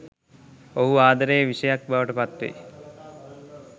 ඔහු ආදරයේ විෂයක් බවට පත්වෙයි